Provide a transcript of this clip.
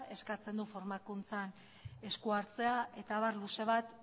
eskatzen du formakuntzan esku hartzea eta abar luze bat